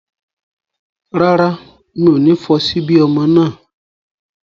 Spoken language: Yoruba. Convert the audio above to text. Rárá, mi ò ní fọ ṣíbí ọmọ náà